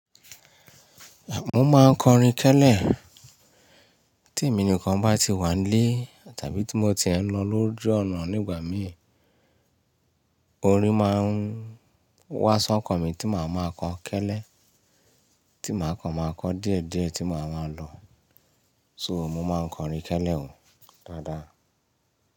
Mo máa ń kọrin kẹ́lẹ́ tí èmi nìkan bá ti wà nlé tàbí tí mo tie ń lọ lóju ọ̀nà nígbà mí, orin máa ń wá sọ́kọ̀ mi tí màá máa kọ kẹ́lẹ́, tí màá kan màá kọ diédié tí màá máa lọ. So mo máa ń kọrin kẹ́lẹ́ o dáadáa.